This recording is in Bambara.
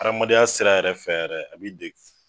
Adamadenya sira yɛrɛ fɛ yɛrɛ a b'i de